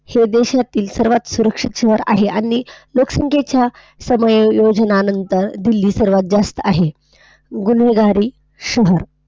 हे देशातील सर्वात सुरक्षित शहर आहे. आणि लोकसंख्येच्या समायोजनांनंतर दिल्ली सर्वात जास्त आहे. गुन्हेगारी शहर.